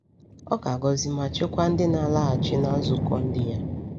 Ọ ga-agọzi ma chekwaa ndị na-alaghachi na nzukọ ndi ya.